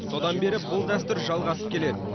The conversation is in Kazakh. содан бері бұл дәстүр жалғасып келеді